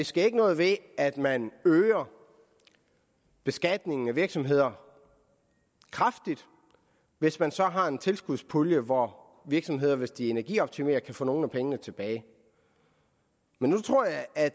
sker noget ved at man øger beskatningen af virksomheder kraftigt hvis man så har en tilskudspulje hvor virksomheder hvis de energioptimerer kan få nogle af pengene tilbage men nu tror jeg at